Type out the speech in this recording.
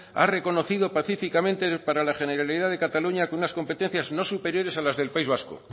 ha reconocido pacíficamente para la generalidad de cataluña que unas competencias no superiores a las del país vasco